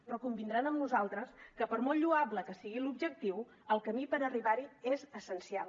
però convindran amb nosaltres que per molt lloable que sigui l’objectiu el camí per arribar hi és essencial